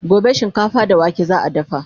gobe shinkafa da wake za'a dafa